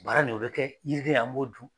Bara nin o bɛ kɛ yiriden an m'o dun.